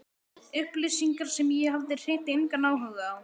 Upplýsingar sem ég hafði hreint engan áhuga á.